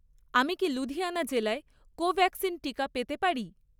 আমি কি লুধিয়ানা জেলায় কোভ্যাক্সিন টিকা পেতে পারি?